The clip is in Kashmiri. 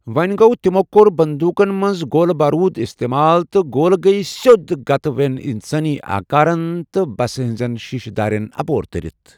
وونہِ گو تِمو كور بندوٗقن منز گولہٕ بوروٗد استمال ، تہٕ گولہٕ گیہ سیود گتٕہ وین اِنسٲنی آكارن تہٕ بسہِ ہنزین شیشہِ دارین اپور ترِتھ ۔